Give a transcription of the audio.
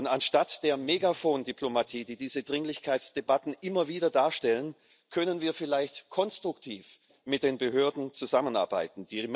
Anstatt der Megafon Diplomatie, die diese Dringlichkeitsdebatten immer wieder darstellen, können wir vielleicht konstruktiv mit den Behörden zusammenarbeiten.